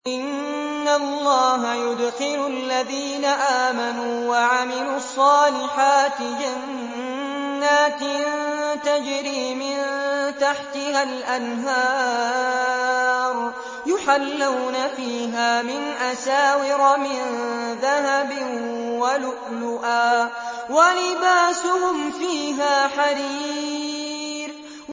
إِنَّ اللَّهَ يُدْخِلُ الَّذِينَ آمَنُوا وَعَمِلُوا الصَّالِحَاتِ جَنَّاتٍ تَجْرِي مِن تَحْتِهَا الْأَنْهَارُ يُحَلَّوْنَ فِيهَا مِنْ أَسَاوِرَ مِن ذَهَبٍ وَلُؤْلُؤًا ۖ وَلِبَاسُهُمْ فِيهَا حَرِيرٌ